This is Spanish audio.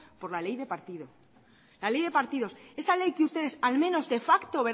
por la ley de partidos esa ley que ustedes al menos de facto